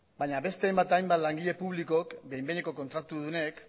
baina beste hainbat eta hainbat langile publikok behin behineko kontratudunek